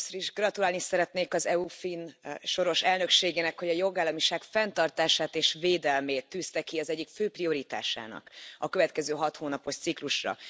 Először is gratulálni szeretnék az EU soros finn elnökségének, hogy a jogállamiság fenntartását és védelmét tűzte ki az egyik fő prioritásának a következő hathónapos ciklusra.